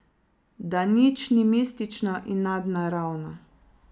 Da nič ni mistično in nadnaravno.